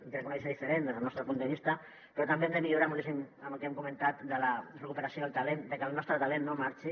i crec que una visió diferent des del nostre punt de vista però també hem de millorar moltíssim amb el que hem comentat de la recuperació del talent que el nostre talent no marxi